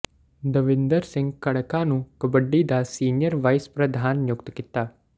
ਦਵਿੰਦਰ ਸਿੰਘ ਘੜਕਾ ਨੂੰ ਕਬੱਡੀ ਦਾ senior vice ਪ੍ਰਧਾਨ ਨਿਯੁਕਤ ਕੀਤਾ